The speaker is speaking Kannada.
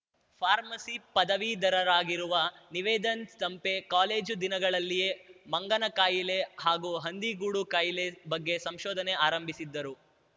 ಫಾರ್ಮಸಿ ಪದವೀಧರರಾಗಿರುವ ನಿವೇದನ್‌ ನೆಂಪೆ ಕಾಲೇಜು ದಿನಗಳಲ್ಲಿಯೇ ಮಂಗನಕಾಯಿಲೆ ಹಾಗೂ ಹಂದಿಗೂಡು ಕಾಯಿಲೆ ಬಗ್ಗೆ ಸಂಶೋಧನೆ ಆರಂಭಿಸಿದ್ದರು